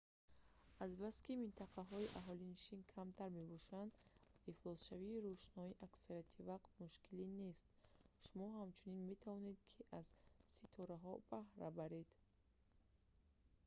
азбаски минтақаҳои аҳолинишин камтар мебошанд ва ифлосшавии рӯшноӣ аксарияти вақт мушкилӣ нест шумо ҳамчунин метавонед ки аз ситораҳо баҳра баред